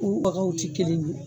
U bagaw ti kelen ye